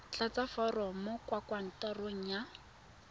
tlatsa foromo kwa kantorong ya